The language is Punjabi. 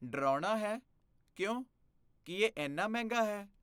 ਡਰਾਉਣਾ ਹੈ? ਕਿਉਂ? ਕੀ ਇਹ ਇੰਨਾ ਮਹਿੰਗਾ ਹੈ?